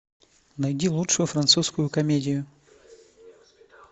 найди лучшую французскую комедию